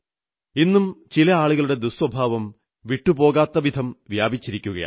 ഇന്നും ചില ആളുകളുടെ ദുഃസ്വഭാവം വിട്ടുപോകാത്ത വിധം വ്യാപിച്ചിരിക്കുന്നു